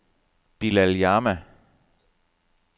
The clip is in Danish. Bilal Jama